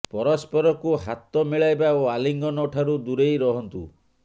ପରସ୍ପରକୁ ହାତ ମିଳାଇବା ଓ ଆଲିଙ୍ଗନ ଠାରୁ ଦୂରେଇ ରହନ୍ତୁ